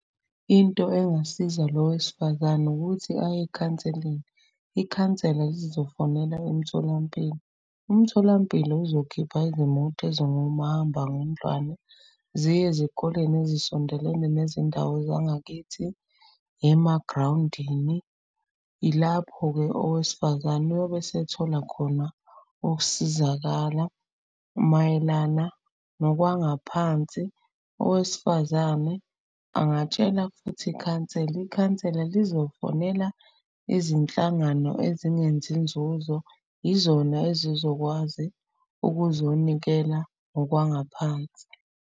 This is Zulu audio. Into engasiza lo wesifazane ukuthi aye ekhanseleni, ikhansela lizofonela emtholampilo. Umtholampilo uzokhipha izimoto ezingomahambangendlwane. Ziye ezikoleni ezisondelene nezindawo zangakithi, emagrawundini. Ilapho-ke owesifazane oyobe esethola khona ukusizakala. Mayelana nokwangaphansi, owesifazane angatshela futhi ikhansela. Ikhansela lizokufonela izinhlangano ezingenzi nzuzo, izona ezizokwazi ukuzonikela ngokwangaphansi.